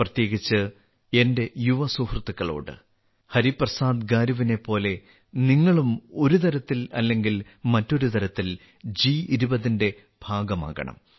പ്രത്യേകിച്ച് എന്റെ യുവസുഹൃത്തുക്കളോട് അഭ്യർത്ഥനയുണ്ട് ഹരിപ്രസാദ് ഗാരുവിനെപ്പോലെ നിങ്ങളും ഒരുതരത്തിൽ അല്ലെങ്കിൽ മറ്റൊരുതരത്തിൽ ജി20ന്റെ ഭാഗമാകണം